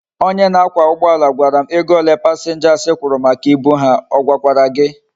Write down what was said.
Onye na akwa ugboala gwara m ego ole passengers kwuru maka ibu ha, ogwakwara gi?